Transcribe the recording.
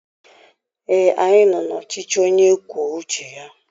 Ee, anyị nọ n'ọchịchị onye kwuo uche ya.